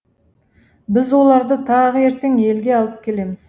біз оларды тағы ертең елге алып келеміз